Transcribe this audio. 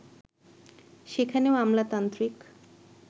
সেখানেও আমলাতান্ত্রিক